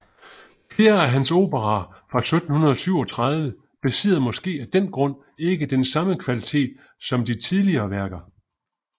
Flere af hans operaer fra 1737 besidder måske af den grund ikke den samme kvalitet som de tidligere værker